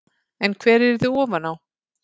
En hver yrði ofan á?